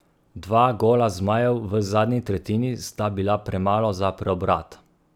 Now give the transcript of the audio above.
Dva gola zmajev v zadnji tretjini sta bila premalo za preobrat.